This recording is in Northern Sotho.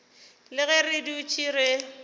le ge re dutše re